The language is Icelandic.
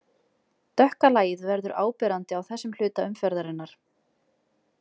Dökka lagið verður áberandi á þessum hluta umferðarinnar.